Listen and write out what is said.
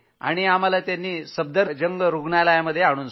आणि आम्हाला त्यांनी सफदरजंग रूग्णालयात आणून सोडलं